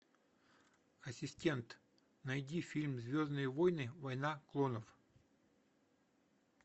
ассистент найди фильм звездные войны война клонов